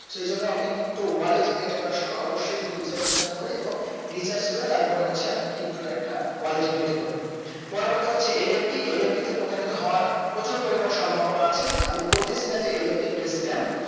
সেই জন্য আপনি pto wallet করার সময় অবশ্যই একটু বিচার বিবেচনা করে এবং research করে তার পরে হচ্ছে আপনি pto র একটা wallet create করবেন পরিবর্তে হচ্ছে NFT NFT তে প্রতারিত হওয়ার প্রচুর পরিমানে সম্ভবনা আছে আমি বলতেছিনা NFT একটা scam